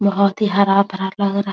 बहोत ही हरा-भरा लग रहा।